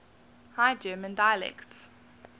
high german dialects